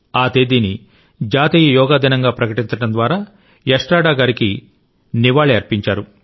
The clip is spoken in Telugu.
ఆ తేదీని జాతీయ యోగా దినంగా ప్రకటించడం ద్వారా ఎస్ట్రాడా గారికి కూడా నివాళి అర్పించారు